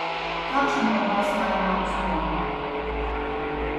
Kakšen odnos naj imam z njo?